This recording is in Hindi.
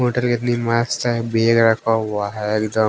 होटल के तीन मास्क चाहे बैग रखा हुआ है एक दम।